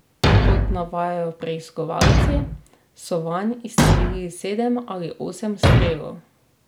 Kot navajajo preiskovalci, so vanj izstrelili sedem ali osem strelov.